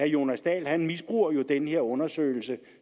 jonas dahl misbruger jo den her undersøgelse